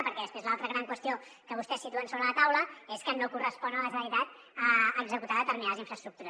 perquè després l’altra gran qüestió que vostès situen sobre la taula és que no correspon a la generalitat executar determinades infraestructures